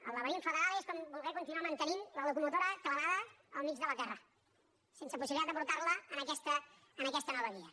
el laberint federal és com voler continuar mantenint la locomotora clavada al mig de la terra sense possibilitat de portar la a aquesta nova via